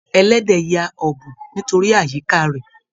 Ẹlẹdẹ ya ọbùn nítorí àyíká rẹ.